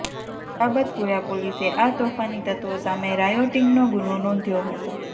સલાબતપુરા પોલીસે આ તોફાની તત્ત્વો સામે રાયોટિંગનો ગુનો નોંધ્યો હતો